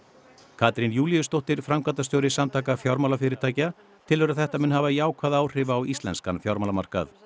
Katrín Júlíusdóttir framkvæmdastjóri Samtaka fjármálafyrirtækja telur að þetta muni hafa jákvæð áhrif á íslenskan fjármálamarkað